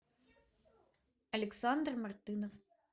александр мартынов